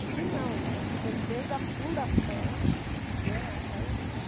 Aqui não, aqui nós fizemos desde a fundação, né, até o último andar.